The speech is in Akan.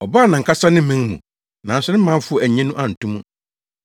Ɔbaa nʼankasa ne man mu, nanso ne manfo annye no anto mu.